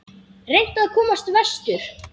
Reynt að komast vestur